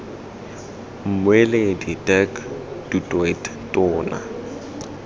mmueledi dirk du toit tona